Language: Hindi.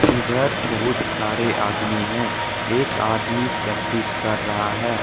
इधर बहुत सारे आदमी हैं एक आदमी प्रैक्टिस कर रहा है।